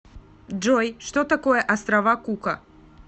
джой что такое острова кука